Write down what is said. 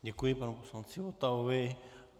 Děkuji panu poslanci Votavovi.